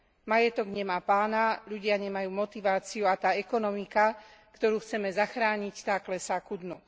Majetok nemá pána, ľudia nemajú motiváciu a tá ekonomika, ktorú chceme zachrániť, tá klesá ku dnu.